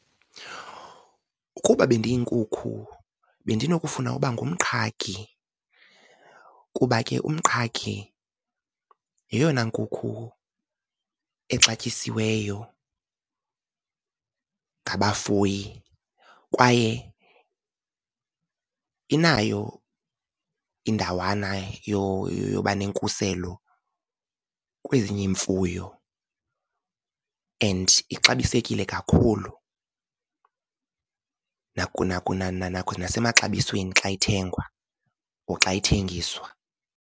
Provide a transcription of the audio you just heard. Ukuba bendiyinkukhu bendinokufuna ukuba ngumqhagi kuba ke umqhagi yeyona nkukhu exatyisiweyo ngabafuyi kwaye inayo indawana yoba nenkuselo kwezinye iimfuyo, and ixabisekile kakhulu nasemaxabisweni xa ithengwa or xa ithengiswa.